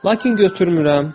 Lakin götürmürəm.